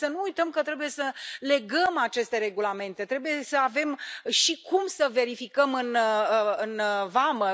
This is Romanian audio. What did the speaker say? Numai să nu uităm că trebuie să legăm aceste regulamente, trebuie să avem și cum să verificăm în vamă.